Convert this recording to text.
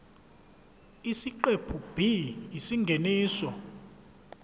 isiqephu b isingeniso